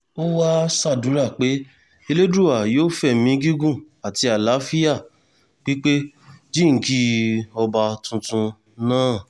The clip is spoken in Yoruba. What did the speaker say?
ó wáá ṣàdúrà pé elédùà yóò fẹ̀mí gígùn àti àlàáfíà pípé jíǹkí ọba tuntun náà